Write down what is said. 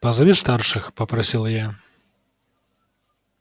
позови старших попросил я